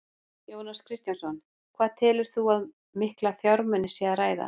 Jóhannes Kristjánsson: Hvað telur þú að um mikla fjármuni sé að ræða?